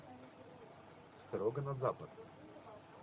строго на запад